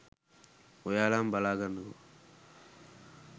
ඔයාලම බලා ගන්නකෝ